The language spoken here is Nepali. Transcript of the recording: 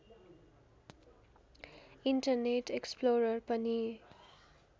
इन्टरनेट एक्सप्लोरर पनि